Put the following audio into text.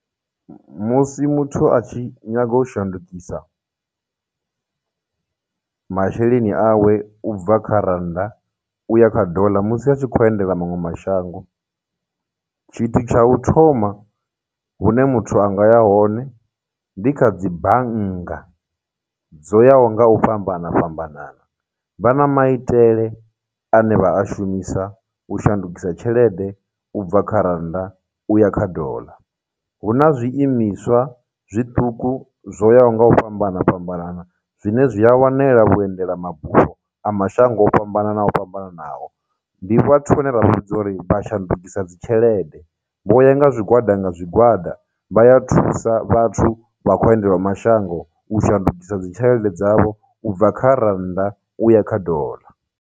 Musi muthu a tshi nyaga u shandukisa masheleni awe u bva kha rannda uya kha dollar musi a tshi khou endela maṅwe mashango. Tshithu tsha u thoma hune muthu anga ya hone, ndi kha dzibannga dzoyaho nga u fhambana fhambanana, vha na maitele ane vha a shumisa u shandukisa tshelede ubva kha rannda uya kha dollar. Huna zwiimiswa zwiṱuku zwoyaho nga u fhambana fhambanana zwine zwi a wanela vhuendela mabufho a mashango o fhambanana fhambananaho, ndi vhathu vhane ra vhidza uri vhashandukisa dzitshelede, vho ya nga zwigwada nga zwigwada, vha ya thusa vhathu vha khou endelaho mashango u shandukisa dzitshelede dzavho u bva kha rannda uya kha dollar.